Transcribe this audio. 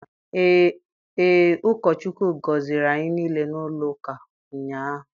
Ee, ụkọ Chukwu gọziri anyị niile n'ụlọ ụka ụnyaahụ.